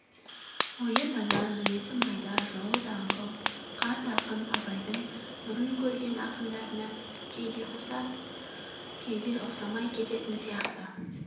ойы дана мінезі майда жолы даңғыл қарт ақын абайдың бұрын көрген ақындарына кейде ұқсап кейде ұқсамай кететін сияқты